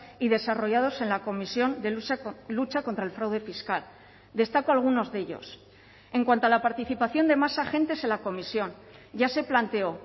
y desarrollados en la comisión de lucha contra el fraude fiscal destaco algunos de ellos en cuanto a la participación de más agentes en la comisión ya se planteó